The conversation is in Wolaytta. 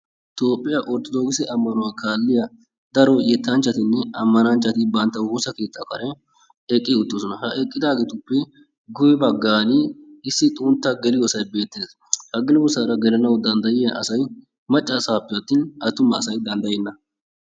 Toophiya ortodookise ammanuwa kaalliya daro yettanchattinne ammananchati bantta woosa keettaa karen eqqi uttidosona. Ha eqqidaageetuppe guyye baggaani issi xuntta geliyoosay beettes. Ha geliyoosaara gelanawu dandayiya asay macca asaappe attin attuma asay gelenna.